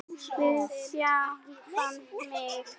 Við sjálfan mig.